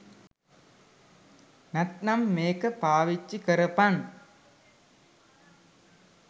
නැත්නම් මේක පාවිච්චි කරපන්.